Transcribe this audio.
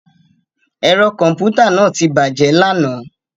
Ẹ̀rọ kọ̀m̀pútà náà ti bàjẹ́ lánàá